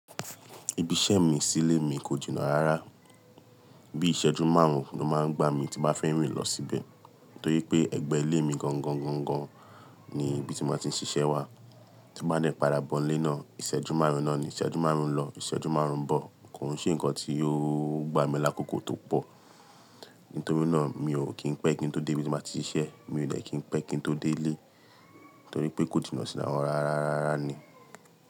Ibi iṣẹ́ mi sílé mi kò jìnà rárá, bí iṣẹ́jú márùn-ún ló máa ń gbá mi tí bá fẹ́ rìn lọ síbẹ̀. Torí pé ẹ̀gbẹ́ ilé mi gangan, gangan ni ibi tí ma ti ń ṣiṣẹ́ wà. Tí bá n parabọ́ń lé náà, ìṣẹ́jú márùn-ún náà ni ìṣẹ́jú márùn-ún lọ, ìṣẹ́jú márùn-ún bọ̀. Kò hún ṣe nǹkan tí ó gbá mi lákòókò tó pọ̀. Nítorí náà mi ò kí ń pẹ́ kí n tó dé ibi tí mo ti ń ṣiṣẹ́, mi ò lè kí ń pẹ́ kí n tó dé ilé. Nítorí pé kò jìnà sína wọn rárá, rárá ni.